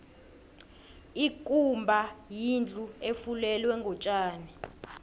ikumba yindlu efulelwe ngotjani